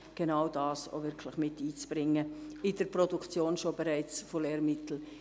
Genau dies versuchen wir bei der Produktion der Lehrmittel miteinzubringen.